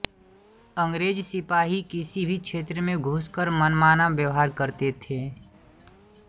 अँग्रेज सिपाही किसी भी क्षेत्र में घुसकर मनमाना व्यवहार करते थे